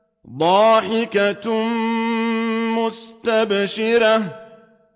ضَاحِكَةٌ مُّسْتَبْشِرَةٌ